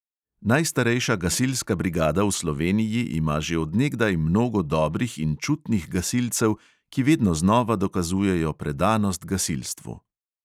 Najstarejša gasilska brigada v sloveniji ima že od nekdaj mnogo dobrih in čutnih gasilcev, ki vedno znova dokazujejo predanost gasilstvu.